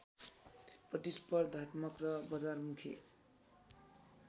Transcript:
प्रतिस्पर्धात्मक र बजारमुखी